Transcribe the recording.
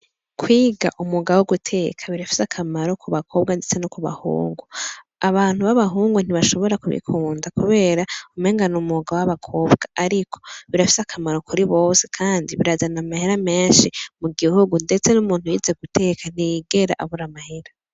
Kwiga umwuga wo guteka birafise akamaro ku bakobwa ndetse no ku bahungu. Abantu b'abahungu ntibashobora kubikunda kubera umengana ni umwuga w'abakobwa ariko birafise akamaro kuri bose kandi birazana amahera menshi mu gihugu ndetse n'umuntu yize guteka ntiyigera abura amahera.